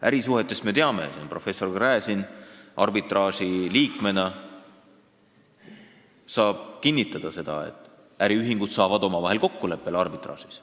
Ärisuhete puhul me teame – professor Gräzin arbitraaži liikmena saab seda kinnitada –, et äriühingud saavad omavahel kokkuleppele arbitraažis.